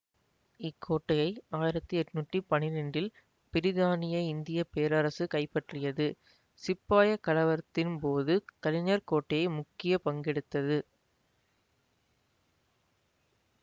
இக்கோட்டையை ஆயிரத்தி எட்ணூத்தி பன்னிரெண்டில் பிரித்தானிய இந்திய பேரரசு கைப்பற்றியது சிப்பாய் கலவரத்தின் போது கலிஞ்சர் கோட்டை முக்கிய பங்கெடுத்தது